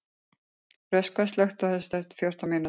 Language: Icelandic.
Röskva, slökktu á þessu eftir fjórtán mínútur.